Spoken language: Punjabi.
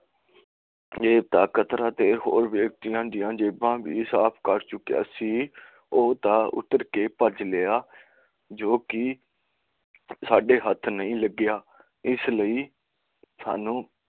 ਇਹਤਾ ਕਰਤਾ ਤਾਂ ਹੋਰ ਵਿਅਕਤੀਆਂ ਦੀਆਂ ਜੇਬਾਂ ਵੀ ਸਾਫ ਕਰ ਚੁੱਕਿਆ ਸੀ ਤੇ ਉਹ ਤਾਂ ਉਤਾਰ ਕੇ ਭੱਜ ਲਿਆ ਤੇ ਸੱਦੇ ਹੱਥ ਨਹੀਂ ਲੱਗਿਆ